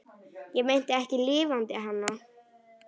Ég meinti ekki LIFANDI HANA.